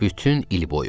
Bütün il boyu.